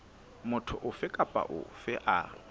motho ofe kapa ofe a